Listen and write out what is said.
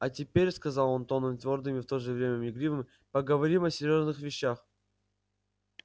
а теперь сказал он тоном твёрдым и в то же время игривым поговорим о серьёзных вещах